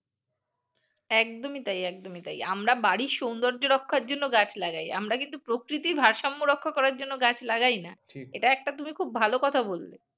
একদমই তাই একদমই তাই আমরা বাড়ি সৌন্দর্য্য রক্ষার জন্য গাছ লাগাই আমরা কিন্তু প্রকৃতির ভারসাম্য রক্ষা করার জন্য গাছ লাগাই না এটা একটা তুমি খুব ভাল কথা বললে